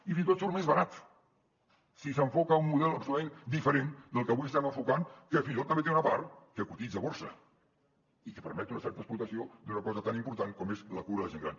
i fins i tot surt més barat si s’enfoca un model absolutament diferent del que avui estem enfocant que fins i tot també té una part que cotitza a borsa i que permet una certa explotació d’una cosa tan important com és la cura de la gent gran